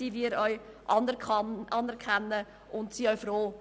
Wir anerkennen das und sind auch froh.